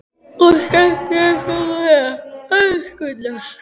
Og skemmtið ykkur nú vel, elskurnar!